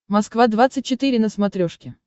москва двадцать четыре на смотрешке